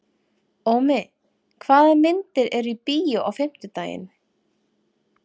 Ómi, hvaða myndir eru í bíó á fimmtudaginn?